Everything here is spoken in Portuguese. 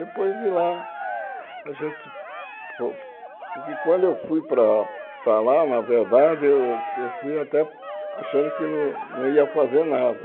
Depois de lá, a gente... Porque quando eu fui para para lá, na verdade, eu eu fui até achando que não não ia fazer nada.